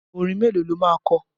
Orin mélòó lo máa kọ?